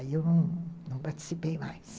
Aí eu não participei mais.